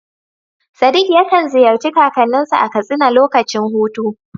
Sadiq yakan ziyarci kakanninsa a Katsina lokacin hutu.